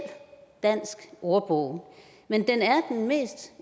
dansk ordbog men den